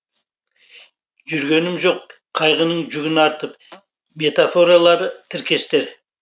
жүргемін жоқ қайғының жүгін артып метафоралы тіркестер